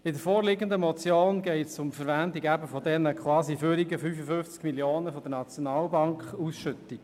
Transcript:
In der vorliegenden Motion geht es um die Verwendung dieser quasi überzähligen 55 Mio. Franken aus der SNB-Ausschüttung.